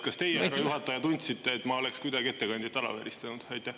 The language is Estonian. Kas teie, härra juhataja, tundsite, et ma oleksin kuidagi ettekandjat alavääristanud?